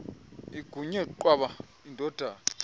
inguye qwaba indodana